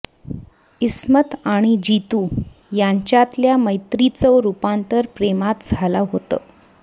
इस्मत आणि जीतू यांच्यातल्या मैत्रीचं रुपांतर प्रेमात झालं होतं